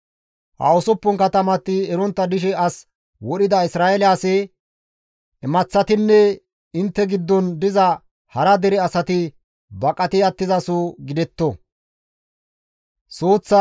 Ha usuppun katamati erontta dishe as wodhida Isra7eele asi, imaththatinne intte giddon diza hara dere asati baqati attizaso gidetto.